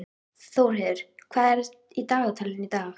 Þórheiður, hvað er í dagatalinu í dag?